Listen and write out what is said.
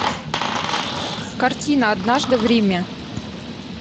картина однажды в риме